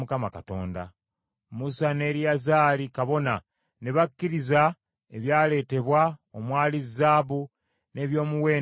Musa ne Eriyazaali kabona, ne bakkiriza ebyaleetebwa omwali zaabu n’ebyomuwendo ebirala byonna.